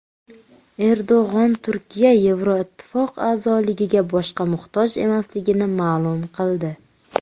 Erdo‘g‘on Turkiya Yevroittifoq a’zoligiga boshqa muhtoj emasligini ma’lum qildi.